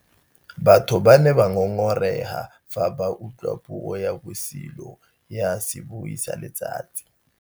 Batho ba ne ba ngôngôrêga fa ba utlwa puô ya bosilo ya sebui sa letsatsi.